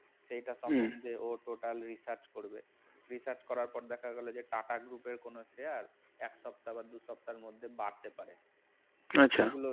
এটা ও তখন total research করবে research করার পর দেখা গেল যে টাটা group এর কোন কোন শেয়ার আর এক সপ্তাহ বা দুই সপ্তাহের মধ্যে বাড়তে পারে এগুলো আচ্ছা